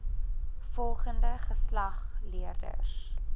volgende geslag leerders